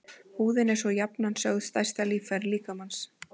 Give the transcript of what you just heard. Húðin er svo jafnan sögð stærsta líffæri mannsins.